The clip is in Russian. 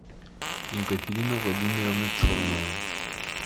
екатерина владимировна черная